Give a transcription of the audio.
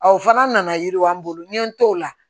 o fana nana yiriwa n bolo n ye n t'o la